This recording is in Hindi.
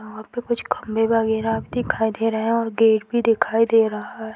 वहाँ पे कुछ खम्भे वगैरह दिखाई दे रहे हैं और गेट भी दिखाई दे रहा है।